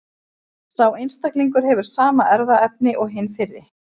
Sá einstaklingur hefur sama erfðaefni og hinn fyrri.